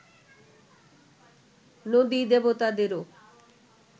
নদী-দেবতাদেরও